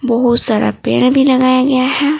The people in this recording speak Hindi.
बहुत सारा पेड़ भी लगाया गया है।